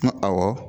N ko awɔ